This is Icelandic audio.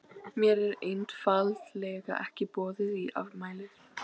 Mér er einfaldlega ekki boðið í afmælið.